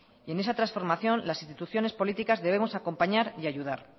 y en esa transformación las instituciones políticas debemos acompañar y ayudar